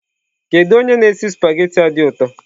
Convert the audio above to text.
Kedu onye na-esi spaghetị a dị ụtọ?